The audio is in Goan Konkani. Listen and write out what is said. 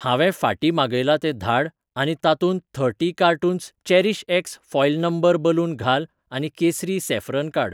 हांवें फाटीं मागयलां तें धाड आनी तातूंत थर्टी कार्टून्स चेरीशएक्स फॉयल नंबर बलून घाल आनी केसरी सॅफ्रन काड.